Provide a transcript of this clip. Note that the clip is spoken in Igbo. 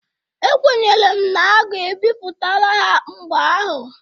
Ekwenyere m na a ga-epipụtala ha mgbe ahụ.